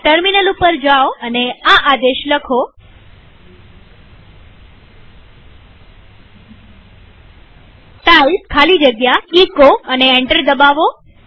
terminal ઉપર જાઓ અને આ આદેશ લખો ટાઇપ ખાલી જગ્યા એચો અને એન્ટર દબાવો